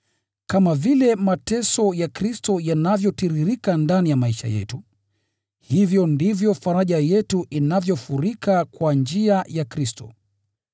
Kama vile mateso ya Kristo yanavyozidi ndani ya maisha yetu, hivyo ndivyo faraja yetu inavyofurika kwa njia ya Kristo.